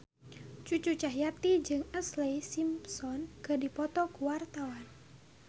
Cucu Cahyati jeung Ashlee Simpson keur dipoto ku wartawan